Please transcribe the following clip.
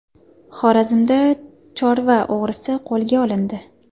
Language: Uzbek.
Xorazmda chorva o‘g‘risi qo‘lga olindi.